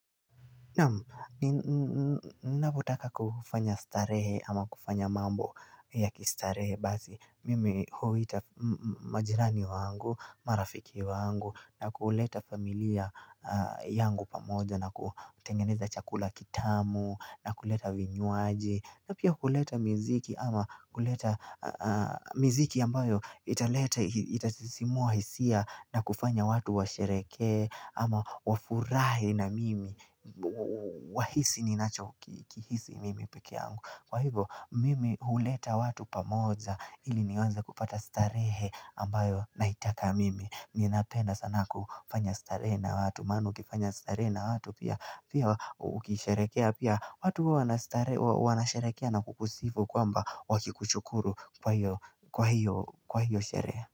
Naam mnapotaka kufanya starehe ama kufanya mambo ya kistarehe bazi mimi huita majirani wangu marafiki wangu na kuleta familia yangu pamoja na kutengeneza chakula kitamu na kuleta vinywaji na pia kuleta miziki ama kuleta miziki ambayo italeta itatisimua hisia na kufanya watu wa sherehekee ama wafurahi na mimi Wahisi ninacho kihisi mimi pekeangu Kwa hivo mimi huleta watu pamoja ili niweze kupata starehe ambayo naitaka mimi Ninapenda sana kufanya starehe na watu maana ukifanya starehe na watu pia Pia ukisharekea pia watu wanasharekea na kukusifu kwamba wakikuchukuru kwa hiyo sherehe.